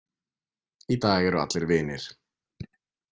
Í dag eru allir vinir.